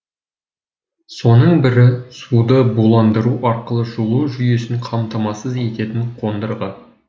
соның бірі суды буландыру арқылы жылу жүйесін қамтамасыз ететін қондырғы